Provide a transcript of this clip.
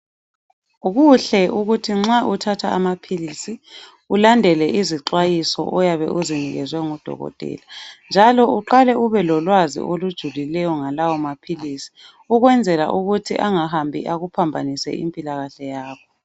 Kuhle ukuthi nxa uthatha amaphilisi ulandele izixwayiso oyabe uzinikezwe ngudokotela njalo uqale ubelolwazi olujulileyo ngalawo maphilisi ukwenzela ukuthi angahambi akuphambanise impilakahle yakho.